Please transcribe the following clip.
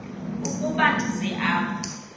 ukuba ndize apha